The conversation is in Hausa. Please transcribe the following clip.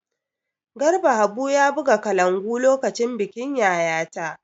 Garba Habu ya buga kalangu lokacin bikin Yayata.